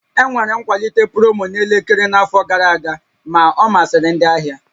Enwere nkwalite promo na elekere n'afọ gara aga, ma ọ masịrị ndị ahịa